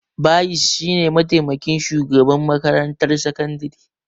Bayis shi ne mataimakin shugaban makarantar sakandire